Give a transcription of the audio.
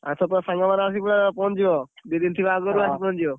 ଆଉ ସେପଟ ସାଙ୍ଗ ମାନେ ପୁରା ଆସିକି ପହଞ୍ଚି ଯିବ, ଦି ଦିନ ଥିବ ଆଗରୁ ଆସି ପହଞ୍ଚି ଯିବ।